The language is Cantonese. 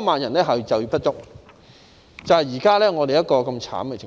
萬多人就業不足，這就是現時的慘烈情況。